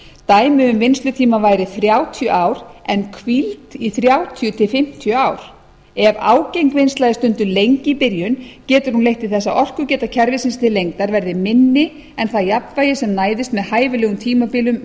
dæmi um vinnslutíma væri þrjátíu ár en hvíld í þrjátíu til fimmtíu ár ef ágeng vinnsla er stunduð lengi í byrjun getur hún leitt til þess orkugeta kerfisins til lengdar verði minni en það jafnvægi sem næðist með hæfilegum tímabilum